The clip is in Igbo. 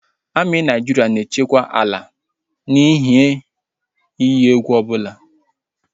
Amị ndị Naịjirịa na-echekwa ala site n'ihe iyi egwu ọbụla